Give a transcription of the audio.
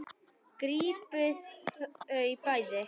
Grípið þau bæði!